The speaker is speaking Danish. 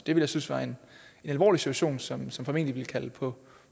jeg synes var en alvorlig situation som som formentlig ville kalde på